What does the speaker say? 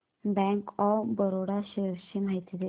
bank of Baroda shares ची माहिती दे